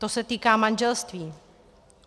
To se týká manželství.